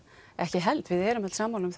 ekki held við erum öll sammála um